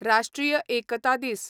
राष्ट्रीय एकता दीस